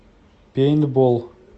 пейнтбол